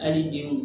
Hali denw